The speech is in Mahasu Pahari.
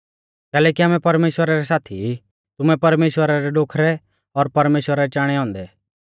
कैलैकि आमै परमेश्‍वरा रै साथी ई तुमैं परमेश्‍वरा रै डोखरै और परमेश्‍वरा रै चाणै औन्दै